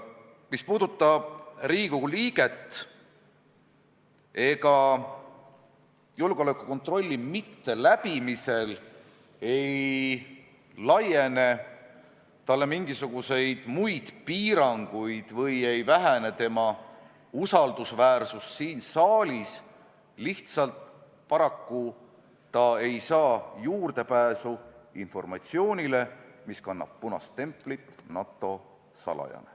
Mis puudutab Riigikogu liiget, siis ega julgeolekukontrolli mitteläbimisel ei laiene talle mingisuguseid muid piiranguid või ei vähene tema usaldusväärsus siin saalis, lihtsalt paraku ta ei saa juurdepääsu informatsioonile, mis kannab punast templit "NATO salajane".